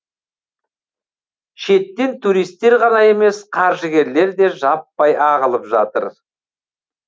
шеттен туристер ғана емес қаржыгерлер де жаппай ағылып жатыр